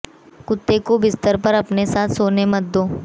कुत्ते को बिस्तर पर अपने साथ सोने मत दो